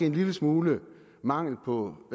en lille smule mangel på